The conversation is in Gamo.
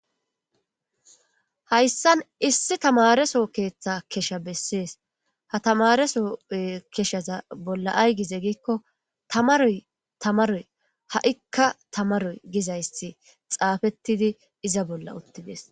hayssan issi tamareso keeththe kesha bessees ha tamareso keshaza bolla aygize giikko tamaroy tamaroy ha7ikka tamaroy gizayssi xaafettidi iza bolla uttides